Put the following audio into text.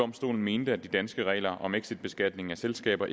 domstolen mente at de danske regler om exitbeskatning af selskaber